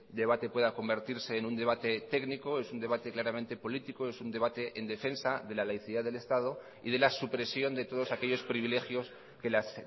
debate pueda convertirse en un debate técnico es un debate claramente político es un debate en defensa de la laicidad del estado y de la supresión de todos aquellos privilegios que las